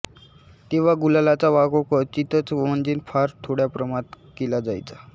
तेव्हा गुलालाचा वापर क्वचितच म्हणजेच फार थोड्या प्रमाणात केला जायचा